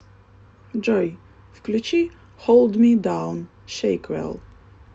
джой включи холд ми даун шейквелл